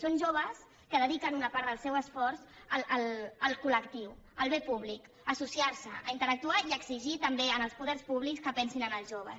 són joves que dediquen una part del seu esforç al col·lectiu al bé públic a associar se a interactuar i a exigir també als poders públics que pensin en els joves